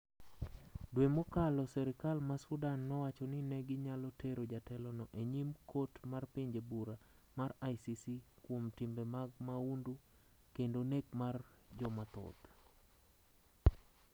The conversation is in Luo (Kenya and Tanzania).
Dwe mokalo serikal ma sudan nowacho ni neginyalo tero jatelo no e nyim. kot mar pinje bura mar ICC kuom timbe mag mahundu kendo nek mar jomathoth